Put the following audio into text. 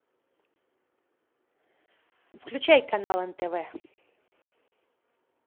включай канал нтв